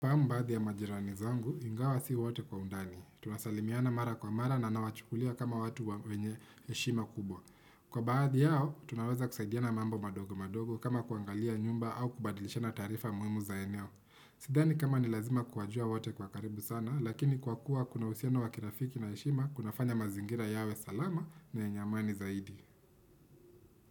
Nfahamu baadhi ya majirani zangu, ingawa si wote kwa undani. Tunasalimiana mara kwa mara na nawachukulia kama watu wenye heshima kubwa. Kwa baadhi yao, tunaweza kusaidiana mambo madogo madogo kama kuangalia nyumba au kubadilishana tarifa muhimu za eneo. Sidhani kama ni lazima kuwajua wote kwa karibu sana, lakini kwa kuwa kuna uhusiano wa kirafiki na heshima, kunafanya mazingira yawe salama na yenye amani zaidi.